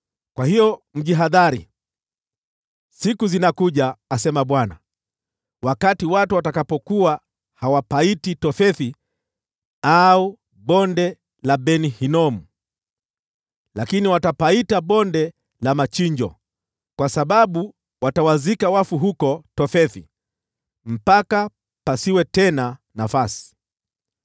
Kwa hiyo mjihadhari, siku zinakuja, asema Bwana , wakati watu watakapokuwa hawapaiti Tofethi au Bonde la Ben-Hinomu, lakini watapaita Bonde la Machinjo, kwa sababu watawazika wafu huko Tofethi mpaka pasiwe tena nafasi.